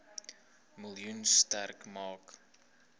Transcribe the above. miljoen sterk maak